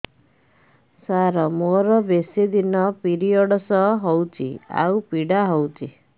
ସାର ମୋର ବେଶୀ ଦିନ ପିରୀଅଡ଼ସ ହଉଚି ଆଉ ପୀଡା ହଉଚି